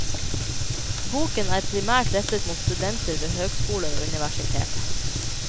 Boken er primært rettet mot studenter ved høgskoler og universiteter.